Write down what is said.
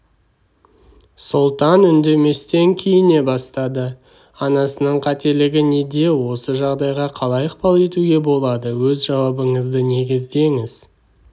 сұлтан үндеместен киіне бастады анасының қателігі неде осы жағдайға қалай ықпал етуге болады өз жауабыңызды негіздеңіз